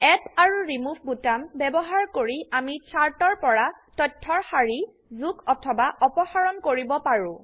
add আৰু remove বোতাম ব্যবহাৰ কৰি আমি চাৰ্টৰ পৰা তথ্যৰ সাৰি যোগ অথবা অপসাৰণ কৰিব পাৰো